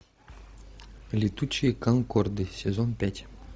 летучие конкорды сезон пять